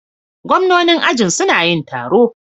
Gwamnanin ajin suna yin taro.